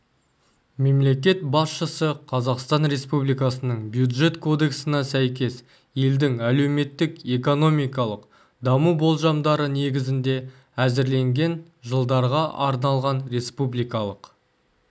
мемлекет басшысы қазақстан республикасының бюджет кодексіне сәйкес елдің әлеуметтік-экономикалық даму болжамдары негізінде әзірленген жылдарға арналған республикалық